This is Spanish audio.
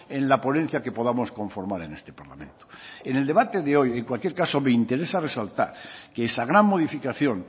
en la ponencia que podamos conformar en este parlamento en el debate de hoy en cualquier caso me interesa resaltar que esa gran modificación